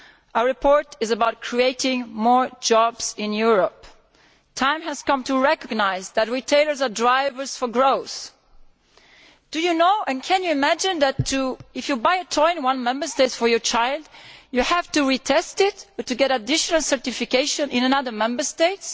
Our report is about creating more jobs in Europe. The time has come to recognise that retailers are drivers of growth. Did you know, and can you imagine, that if you buy a toy in one Member State for your child, you have to retest it to get additional certification in another Member State?